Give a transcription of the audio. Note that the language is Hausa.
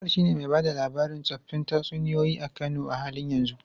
Abubakar shine mai ba da labarin tsoffin tatsuniyoyi a Kano a halin yanzu.